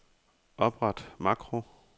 Opret makro.